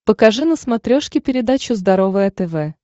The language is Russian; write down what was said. покажи на смотрешке передачу здоровое тв